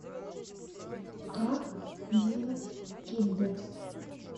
как делать киндер